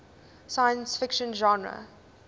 science fiction genre